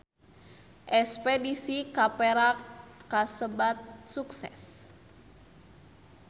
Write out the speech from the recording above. Espedisi ka Perak kasebat sukses